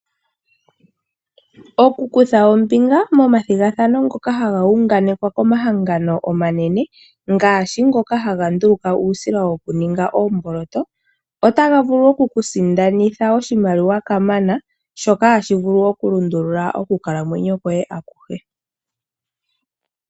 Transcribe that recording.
Oku kutha ombinga momathigathano ngoka haga wunganekwa komahangano omanene ngaashi ngoka haga nduluka uusila okuninga oomboloto otaga vulu oku kusindanitha oshimaliwa kamana shoka hashi vulu okulundulula okukalamwenyo kwoye akuhe